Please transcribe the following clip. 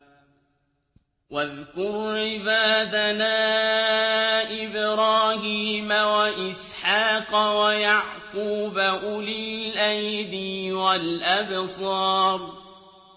وَاذْكُرْ عِبَادَنَا إِبْرَاهِيمَ وَإِسْحَاقَ وَيَعْقُوبَ أُولِي الْأَيْدِي وَالْأَبْصَارِ